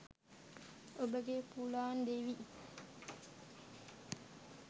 ඔබගේ පුලාන් දේවි